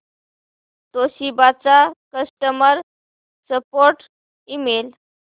Toshiba चा customer support email